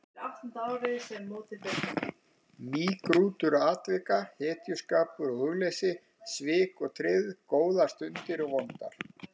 Mýgrútur atvika, hetjuskapur og hugleysi, svik og tryggð, góðar stundir og vondar.